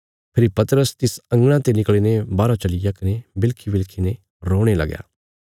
फेरी पतरस तिस अंगणा ते निकल़ीने बाहरौ चलिग्या कने बिलकीबिलकी ने रोणे लगया